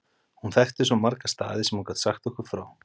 Hún þekkti svo marga staði sem hún gat sagt okkur frá.